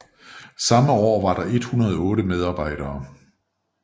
Samme år var der 108 medarbejdere